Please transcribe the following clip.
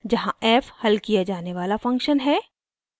जहाँ: f हल किया जाने वाला फंक्शन है